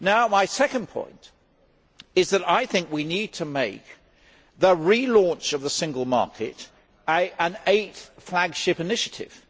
My second point is that I think we need to make the relaunch of the single market an eighth flagship initiative.